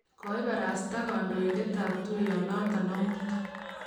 kioibarasta kandoindetab tuyonoto omut